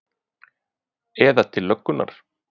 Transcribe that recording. Eða til löggunnar?